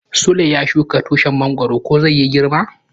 Sule ya shuka tushin mongoro ko zai yi girma.